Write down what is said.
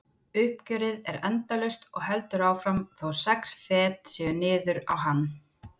Uppgjörið er endalaust og heldur áfram þótt sex fet séu niður á hann.